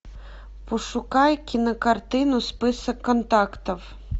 пошукай кинокартину список контактов